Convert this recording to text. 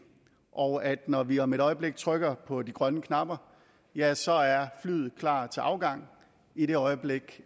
og at når vi om et øjeblik trykker på de grønne knapper ja så er flyet klar til afgang i det øjeblik